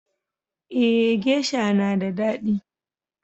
Eh geisha na da daɗi.